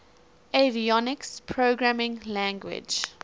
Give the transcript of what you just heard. avionics programming language